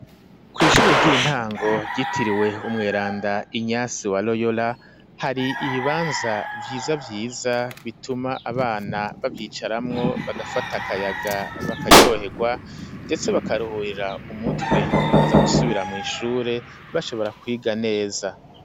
Kw'ishure ry'intango ryitiriwe Umweranda Inyasi wa Royora ,hari ibibanza vyiza vyiza bituma abana bavyicaramwo bagafata akayaga bakaryohegwa ,ndetse bakaruhurira umutwe bakaza gusubira mw'ishure bashobora kwiga neza.